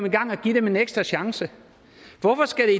i gang og give dem en ekstra chance hvorfor skal